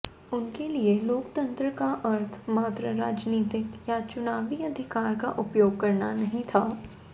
उनके लिए लोकतंत्र का अर्थ मात्र राजनीतिक या चुनावी अधिकार का उपयोग करना नहीं था